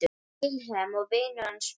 Vilhelm og vinur hans Björn.